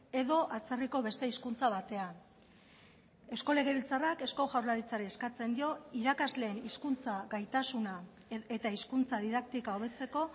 edo atzerriko beste hizkuntza batean eusko legebiltzarrak eusko jaurlaritzari eskatzen dio irakasleen hizkuntza gaitasuna eta hizkuntza didaktika hobetzeko